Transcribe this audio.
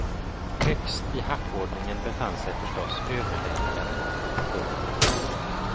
Högst i hackordningen befann sig förstås överläkaren. punkt